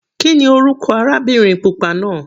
Kíni orúkọ arábìnrin pupa náà?